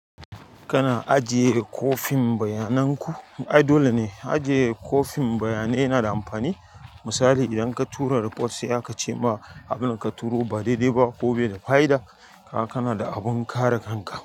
Kana ajiye kwafin bayanan ku. Ai dole ne ajiye kwafin bayanai yana da amfani. Misali idan ka tura report sai aka ce ma abin da ka turo ba daidai ba ko bai da fa'ida, kaga kana da abin kare kanka.